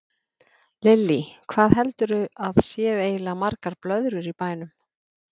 Lillý: Hvað heldurðu að séu eiginlega margar blöðrur í bænum?